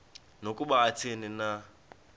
nokuba athini na